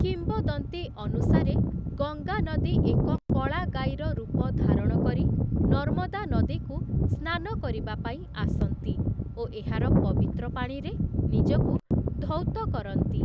କିମ୍ବଦନ୍ତୀ ଅନୁସାରେ, ଗଙ୍ଗା ନଦୀ ଏକ କଳା ଗାଈର ରୂପ ଧାରଣ କରି ନର୍ମଦା ନଦୀକୁ ସ୍ନାନ କରିବାପାଇଁ ଆସନ୍ତି ଓ ଏହାର ପବିତ୍ର ପାଣିରେ ନିଜକୁ ଧୌତ କରନ୍ତି ।